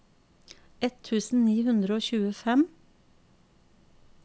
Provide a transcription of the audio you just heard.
ett tusen ni hundre og tjuefem